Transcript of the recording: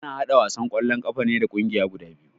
Ana haɗa wasan kwallo ƙafa ne da kungiyar guda biyu